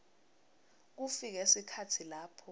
kufike sikhatsi lapho